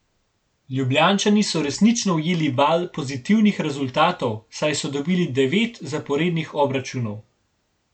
Ljubljančani so resnično ujeli val pozitivnih rezultatov, saj so dobili devet zaporednih obračunov.